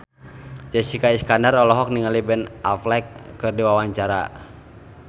Jessica Iskandar olohok ningali Ben Affleck keur diwawancara